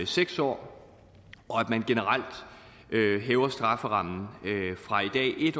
seks år og at man generelt hæver strafferammen fra i